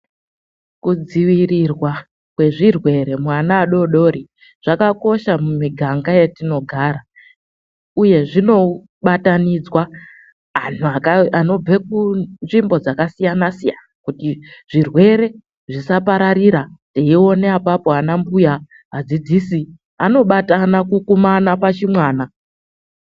Kudzivirirwa kwezvirwere muana adodori zvakakosha mumiganga , yetinogara uye zvinobatanidzwa anhu anobve kunzvimbo dzakasiyana siyana kuti zvirwere zvisapararira eione apapo ana mbuya, adzidzisi anobatana kukumana pachimwana.